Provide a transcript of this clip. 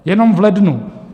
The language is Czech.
Jenom v lednu.